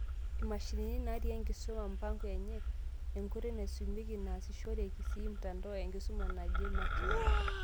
Imashinini naati enkisuma, mpango enye, enkoitoi naisumieki neasishoreki sii mtandao enkisuma naje makeon.